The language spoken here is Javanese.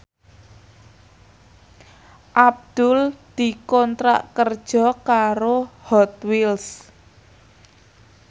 Abdul dikontrak kerja karo Hot Wheels